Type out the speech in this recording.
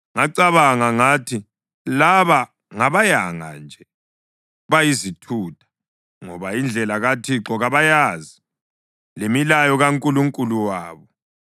Ngacabanga ngathi, “Laba ngabayanga nje, bayizithutha, ngoba indlela kaThixo kabayazi, lemilayo kaNkulunkulu wabo.